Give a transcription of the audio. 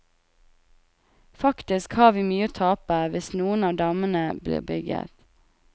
Faktisk har vi mye å tape hvis noen av dammene blir bygget.